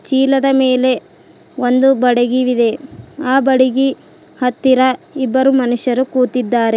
ಚೀಲದ ಮೇಲೆ ಒಂದು ಬಡಗಿವಿದೆ ಆ ಬಡಗಿ ಹತ್ತಿರ ಇಬ್ಬರು ಮನುಷ್ಯರು ಕೂತಿದ್ದಾರೆ.